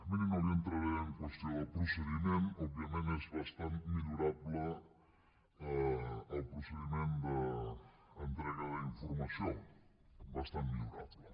miri no li entraré en qüestió del procediment òbviament és bastant millorable el procediment d’entrega d’informació bastant millorable